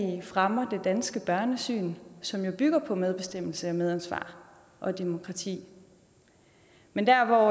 fremmer det danske børnesyn som jo bygger på medbestemmelse og medansvar og demokrati men der